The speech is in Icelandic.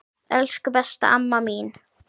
Elsku, besta amma mín.